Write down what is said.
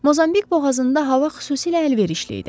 Mozambik boğazında hava xüsusilə əlverişli idi.